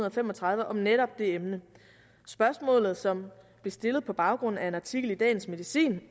og fem og tredive om netop det emne spørgsmålet som blev stillet på baggrund af en artikel i dagens medicin